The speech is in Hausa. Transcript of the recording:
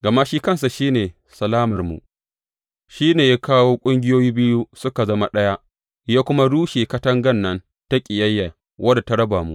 Gama shi kansa shi ne salamarmu, shi ne ya kawo ƙungiyoyi biyu suka zama ɗaya, ya kuma rushe katangan nan ta ƙiyayya wadda ta raba mu.